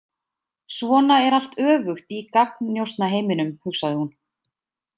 Svona er allt öfugt í gagnnjósnaheiminum, hugsaði hún.